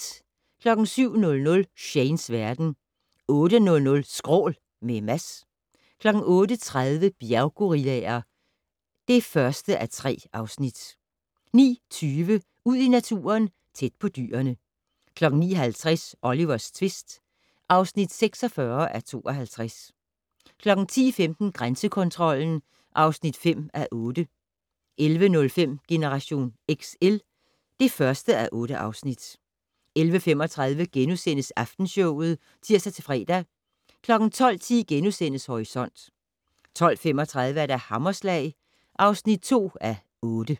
07:00: Shanes verden 08:00: Skrål - med Mads 08:30: Bjerggorillaer (1:3) 09:20: Ud i naturen: Tæt på dyrene 09:50: Olivers tvist (46:52) 10:15: Grænsekontrollen (5:8) 11:05: Generation XL (1:8) 11:35: Aftenshowet *(tir-fre) 12:10: Horisont * 12:35: Hammerslag (2:8)